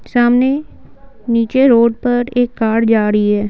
सामने नीचे रोड पर एक कार जा रही है।